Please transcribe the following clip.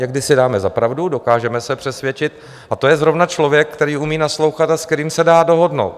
Někdy si dáme za pravdu, dokážeme se přesvědčit, a to je zrovna člověk, který umí naslouchat a s kterým se dá dohodnout.